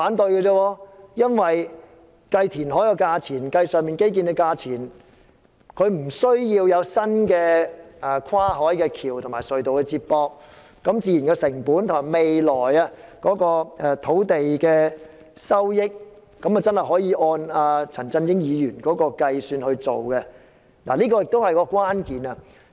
計算東涌東填海的成本，的確無須計算興建新的跨海大橋和接駁隧道的成本，未來土地的收益確實可以按陳振英議員所說的方法計算，這是關鍵所在。